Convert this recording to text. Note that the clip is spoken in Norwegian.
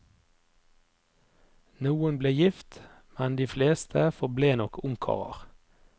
Noen ble gift, men de fleste forble nok ungkarer.